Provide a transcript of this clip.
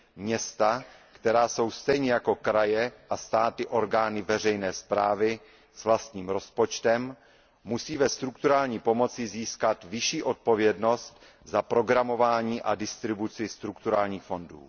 Města, která jsou stejně jako kraje a státy orgány veřejné správy s vlastním rozpočtem, musí ve strukturální pomoci získat vyšší odpovědnost za programování a distribuci strukturálních fondů.